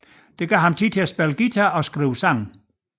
Det gav ham tid til at spille guitar og skrive sange